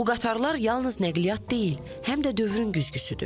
Bu qatarlar yalnız nəqliyyat deyil, həm də dövrün güzgüsüdür.